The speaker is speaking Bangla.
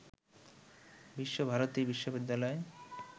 বিশ্বভারতী বিশ্ববিদ্যালয়